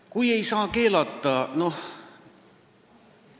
Kui ei saa keelata?